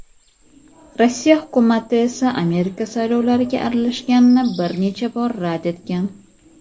Rossiya Hukumati esa Amerika saylovlariga aralashganini bir necha bor rad etgan.